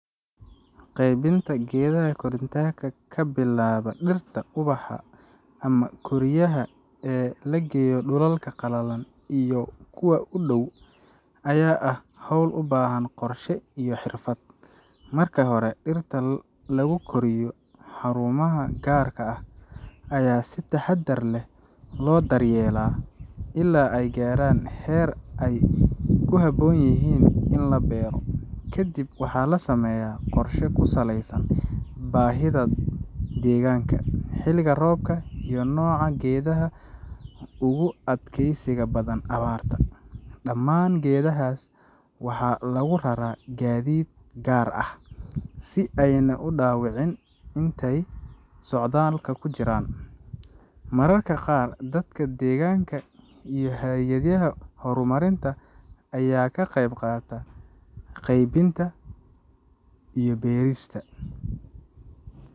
Qaybinta geedaha koritaanka ka bilaaba dhirta ubaxa ama koriyaha ee la geeyo dhulalka qalalan iyo kuwa u dhow ayaa ah hawl u baahan qorshe iyo xirfad. Marka hore, dhirta lagu koriyo xarumaha gaar ah ayaa si taxaddar leh loo daryeelaa ilaa ay gaaraan heer ay ku habboon yihiin in la beero. Kadib, waxaa la sameeyaa qorshe ku saleysan baahida deegaanka, xilliga roobka, iyo nooca geedaha ugu adkaysiga badan abaarta. Dhammaan geedahaas waxaa lagu raraa gaadiid gaar ah, si aanay u dhaawacmin intay socdaalka ku jiraan. Mararka qaar, dadka deegaanka iyo hay’adaha horumarinta ayaa ka qaybqaata qaybinta iyo beerista.